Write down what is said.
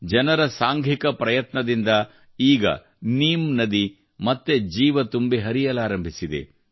ಜನರ ಸಾಂಘಿಕ ಪ್ರಯತ್ನದಿಂದ ಈಗ ನೀಮ್ ನದಿ ಮತ್ತೆ ಜೀವ ತುಂಬಿ ಹರಿಯಲಾರಂಭಿಸಿದೆ